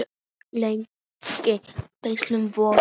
Lægri vígslur voru